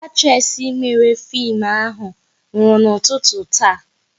Actres mere fim ahụ nwụrụ n'ụtụtụ taa